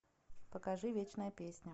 покажи вечная песня